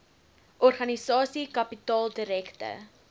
organisasie kapitaal direkte